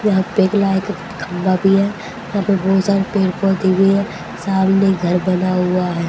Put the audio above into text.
यहां पे एक लाइट खंभा भी है यहां पे बहुत सारे पेड़ पौधे भी है सामने घर बना हुआ है।